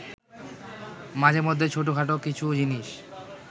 মাঝেমধ্যে ছোটখাটো কিছু জিনিস